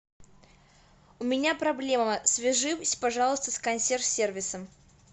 у меня проблема свяжись пожалуйста с консьерж сервисом